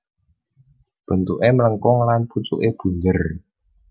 Bentuké mlengkung lan pucuké bunder